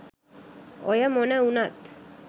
ඔය මොන උනත්